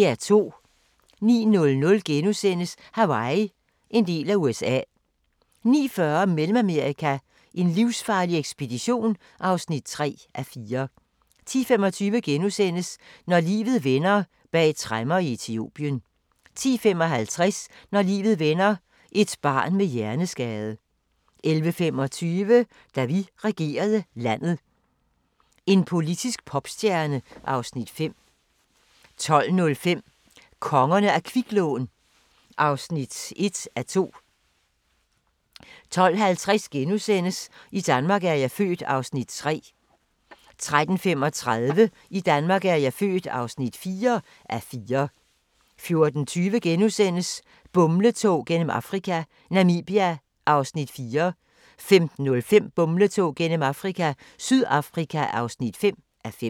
09:00: Hawaii – en del af USA * 09:40: Mellemamerika: en livsfarlig ekspedition (3:4) 10:25: Når livet vender: Bag tremmer i Etiopien * 10:55: Når livet vender: Et barn med hjerneskade 11:25: Da vi regerede landet – en politisk popstjerne (Afs. 5) 12:05: Kongerne af kviklån (1:2) 12:50: I Danmark er jeg født (3:4)* 13:35: I Danmark er jeg født (4:4) 14:20: Bumletog gennem Afrika - Namibia (4:5)* 15:05: Bumletog gennem Afrika – Sydafrika (5:5)